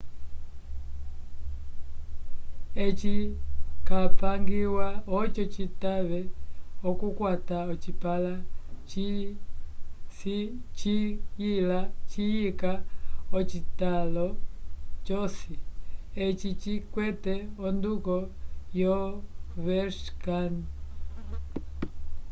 eci capangiwa oco citave okukwata ocipala ciyika ocitalo c'osi eci cikwete onduko yo overscan